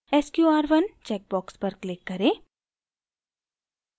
sqr1 check box पर click करें